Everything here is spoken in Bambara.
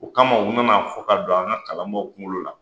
O kama u nan'a fɔ k'a don an ka kalanbaaw kungo la.